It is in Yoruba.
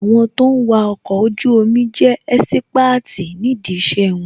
Àwọn tó ń wà ọkọ̀ ojú omi jẹ́ ẹ́sípáàtì ní dí ìṣe wọn